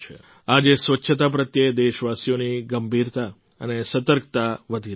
આજે સ્વચ્છતા પ્રત્યે દેશવાસીઓની ગંભીરતા અને સતર્કતા વધી રહી છે